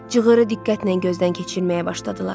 Cığırı diqqətlə gözdən keçirməyə başladılar.